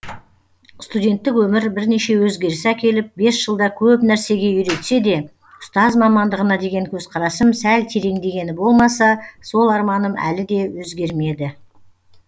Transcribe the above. студенттік өмір бірнеше өзгеріс әкеліп бес жылда көп нәрсеге үйретсе де ұстаз мамандығына деген көзқарасым сәл тереңдегені болмаса сол арманым әлі де өзгермеді